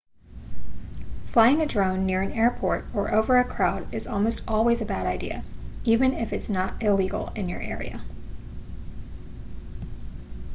flying a drone near an airport or over a crowd is almost always a bad idea even if it's not illegal in your area